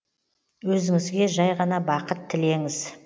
өзіңізге жәй ғана бақыт тілеңіз